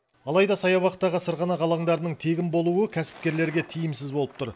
алайда саябақтағы сырғанақ алаңдарының тегін болуы кәсіпкерлерге тиімсіз болып тұр